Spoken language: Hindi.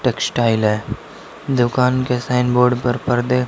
टेक्सटाइल है दुकान के साइन बोर्ड पर पर्दे--